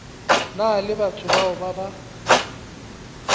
na le batho ba ba